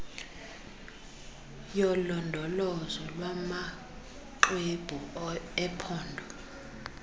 yolondolozo lwamaxwebhu ephondo